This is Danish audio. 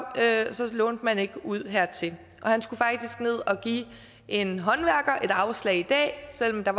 havde så lånte man ikke ud hertil og han skulle faktisk ned og give en håndværker et afslag i dag selv om der